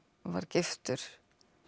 var giftur